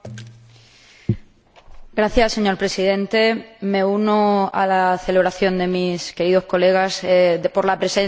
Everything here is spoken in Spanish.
Señor Presidente, me uno a la celebración de mis queridos colegas por la presencia del Consejo hoy aquí.